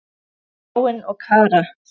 Þráinn og Kara.